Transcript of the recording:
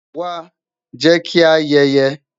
wá, jẹ ki a ayeye